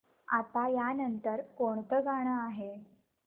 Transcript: आता या नंतर कोणतं गाणं आहे